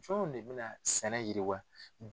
Fɛnw de bɛna sɛnɛ yiriwa